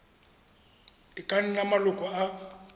e ka nnang maloko a